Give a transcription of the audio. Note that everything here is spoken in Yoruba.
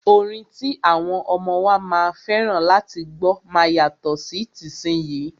Orin ti àwọn ọmọ wa máa fẹ́ràn láti gbọ́ máa yàtọ̀ sí tìsínyii.